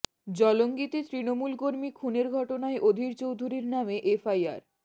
জলঙ্গিতে তৃণমূল কর্মী খুনের ঘটনায় অধীর চৌধুরীর নামে এফআইআর